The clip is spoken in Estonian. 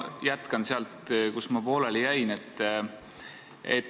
Ma jätkan sealt, kus ma pooleli jäin.